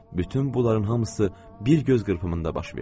Bütün buların hamısı bir göz qırpımında baş verdi.